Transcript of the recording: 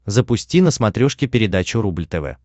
запусти на смотрешке передачу рубль тв